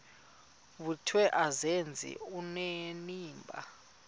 vuthiwe azenze onenimba